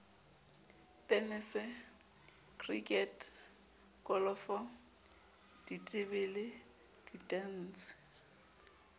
tenese krikete kolofo ditebele ditantshe